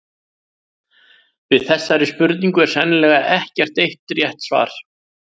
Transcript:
Við þessari spurningu er sennilega ekkert eitt rétt svar.